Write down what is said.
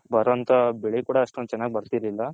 ಬರೋ ಅಂತ ಬೆಳೆ ಕೂಡ ಅಷ್ಟೊಂದು ಚೆನ್ನಾಗ್ ಬರ್ತಿರ್ಲಿಲ್ಲ.